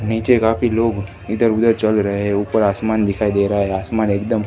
नीचे काफी लोग इधर उधर चल रहे ऊपर आसमान दिखाई दे रहा है आसमान एकदम--